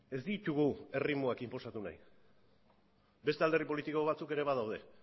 ez ditugu erritmoak inposatu nahi beste alderdi politiko batzuk ere badaude